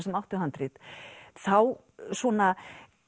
sem áttu handrit þá svona